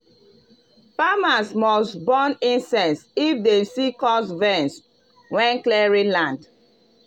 farmers must burn incense if dem see cursed vines when clearing land.